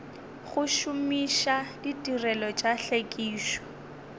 go šomiša ditirelo tša tlhwekišo